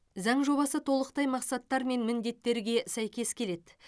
заң жобасы толықтай мақсаттар мен міндеттерге сәйкес келеді